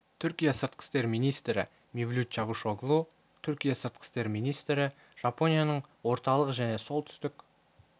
мевлют чавушоглу түркия сыртқы істер министрі мевлют чавушоглу түркия сыртқы істер министрі жапонияның орталық және солтүстік